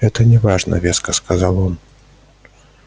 это не важно веско сказал он